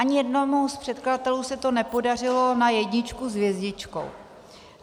Ani jednomu z předkladatelů se to nepodařilo na jedničku s hvězdičkou.